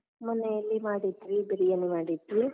ಮನೆಯಲ್ಲಿ ಮಾಡಿದ್ವಿ ಬಿರಿಯಾನಿ ಮಾಡಿದ್ವಿ.